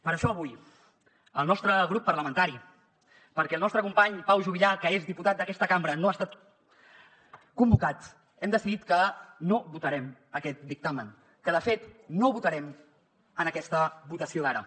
per això avui el nostre grup parlamentari perquè el nostre company pau juvillà que és diputat d’aquesta cambra no ha estat convocat hem decidit que no votarem aquest dictamen que de fet no votarem en aquesta votació d’ara